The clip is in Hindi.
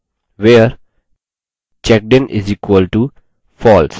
where checkedin = false